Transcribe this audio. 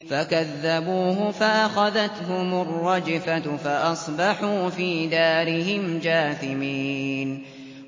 فَكَذَّبُوهُ فَأَخَذَتْهُمُ الرَّجْفَةُ فَأَصْبَحُوا فِي دَارِهِمْ جَاثِمِينَ